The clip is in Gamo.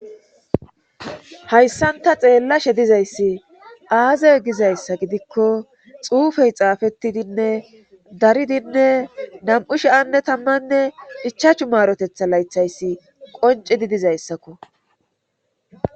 hayssan ta xeellashe dizayssi aazay gizayssa gidikko xuufey xaafettidinne daridinne nam7u shi7anne tammanne hichachu maarotetha laythayssi qoncidi dizayssakko